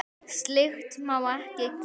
Slíkt má ekki gerast.